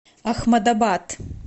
ахмадабад